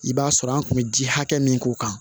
I b'a sɔrɔ an kun bɛ ji hakɛ min k'u kan